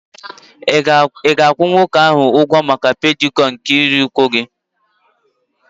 Ị ga-akwụ nwoke ahụ ụgwọ maka pedikịyọọ nke ikiri ụkwụ gị?